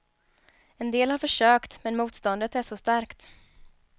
En del har försökt, men motståndet är så starkt.